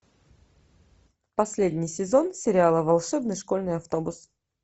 последний сезон сериала волшебный школьный автобус